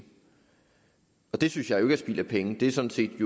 og det synes jeg jo ikke er spild af penge det er sådan set